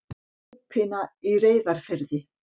Lúpína í Reyðarfirði.